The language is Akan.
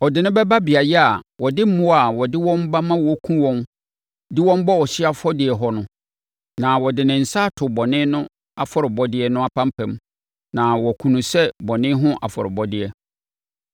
Ɔde no bɛba beaeɛ a wɔde mmoa a wɔde wɔn ba ma wɔkum wɔn de wɔn bɔ ɔhyeɛ afɔdeɛ hɔ no, na ɔde ne nsa ato bɔne no afɔrebɔdeɛ no apampam na wakum no sɛ bɔne ho afɔrebɔdeɛ.